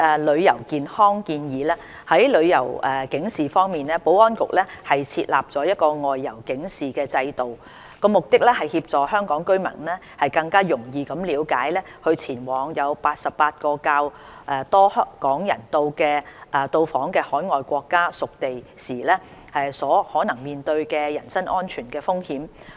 旅遊健康建議在旅遊警示方面，保安局設有"外遊警示制度"，旨在協助香港居民更容易了解在前往88個較多港人到訪的海外國家/屬地時所可能面對的人身安全風險。